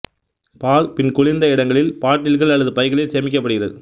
பால் பின் குளிர்ந்த இடங்களில் பாட்டில்கள் அல்லது பைகளில் சேமிக்கப்படுகிறது